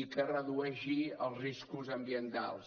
i que redueixi els riscos ambientals